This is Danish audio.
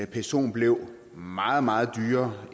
psoen blev meget meget dyrere